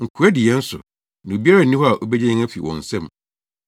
Nkoa di yɛn so, na obiara nni hɔ a obegye yɛn afi wɔn nsam.